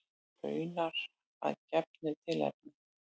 Raunar að gefnu tilefni.